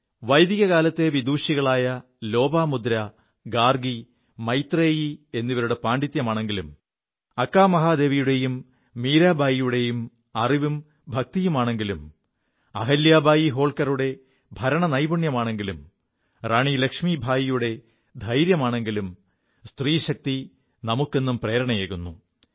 വൈദികകാലത്തെ വിദുഷികളായ ലോപമുദ്ര ഗാർഗി മൈത്രേയി എിവരുടെ പാണ്ഡിത്യമാണെങ്കിലും അക്കാമഹാദേവിയുടെയും മീരാബായിയുടെയും അറിവും ഭക്തിയുമാണെങ്കിലും അഹല്യാബായി ഹോൾക്കറുടെ ഭരണനൈപുണ്യമാണെങ്കിലും റാണി ലക്ഷ്മീബായിയുടെ ധൈര്യമാണെങ്കിലും സ്ത്രീശക്തി നമുക്കെും പ്രേരണയേകുു